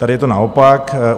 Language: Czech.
Tady je to naopak.